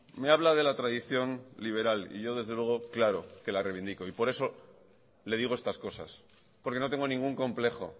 me habla de la tradición liberal y yo desde luego claro que la reivindico y por eso le digo estas cosas porque no tengo ningún complejo